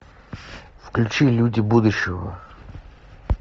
включи люди будущего